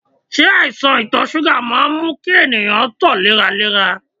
Se aisan ito suga maa n mu ki eniyan to leralera?